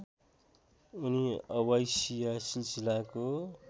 उनी अवाइसिया सिलसिलाको